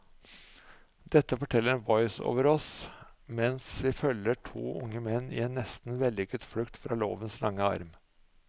Dette forteller en voiceover oss mens vi følger to unge menn i en nesten vellykket flukt fra lovens lange arm.